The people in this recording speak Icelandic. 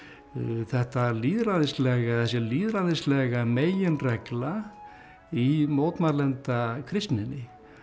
þetta lýðræðislega eða þessi lýðræðislega meginregla í mótmælenda kristninni